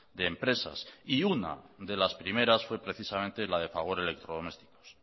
de empresas y una de las primeras fue precisamente la de fagor electrodomésticos